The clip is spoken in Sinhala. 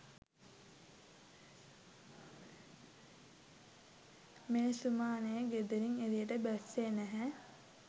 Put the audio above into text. මේ සුමානෙ ගෙදරින් එළියට බැස්සෙ නැහැ.